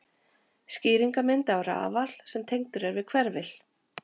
Skýringarmynd af rafal sem tengdur er við hverfil.